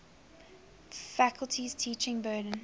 faculty's teaching burden